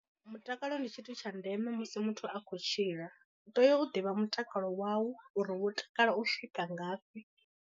Mutakalo ndi tshithu tsha ndeme musi muthu a khou tshila, u tea u ḓivha mutakalo wau uri wo takala u swika ngafhi.